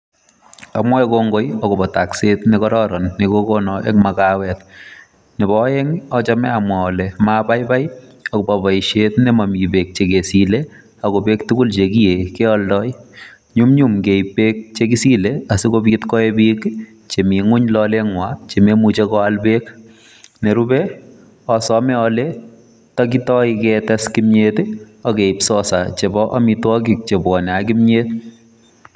Amwae kongoi agobo takset ne gararan nekogonon eng magewet. Nebo aeng, achame amwa ale mabaibai agobo boisiet ne mami beek che kesile ago beek tugul che kiyee kealdoi, nyumnyum keib beek che gisile sigopit koe pik che mi ngwony lole ngwai che mamuche koal beek. Ne rupe asome ale ndakitoi ketes kimyet ii ak keib sosa chebo amitwogik che bwanei ak kimyet.